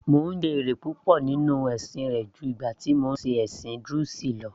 Mò ń jẹ èrè púpọ̀ nínú rẹ̀ ju ìgbà tí mò ń ṣe ẹ̀sìn druze lọ